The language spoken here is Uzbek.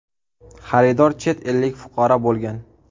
Xaridor chet ellik fuqaro bo‘lgan.